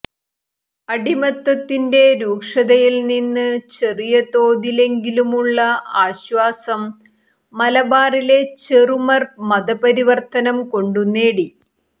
അടിമത്തത്തിന്റെ രൂക്ഷതയിൽനിന്ന് ചെറിയ തോതിലെങ്കിലുമുള്ള ആശ്വാസം മലബാറിലെ ചെറുമർ മതപരിവർത്തനംകൊണ്ടു നേടി